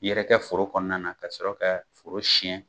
yɛrɛkɛ foro kɔnɔna na ka sɔrɔ ka foro siyɛn.